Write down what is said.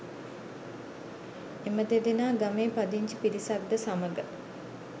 එම දෙදෙනා ගමේ පදිංචි පිරිසක්ද සමග